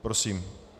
Prosím.